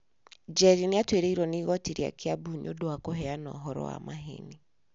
Njeri nĩ atuĩrĩirũo nĩ igooti rĩa Kiambu nĩ ũndũ wa kũheana ũhoro wa maheeni.